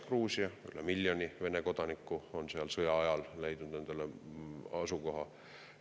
Gruusias on üle miljoni Vene kodaniku, kes on seal sõja ajal endale asukoha leidnud.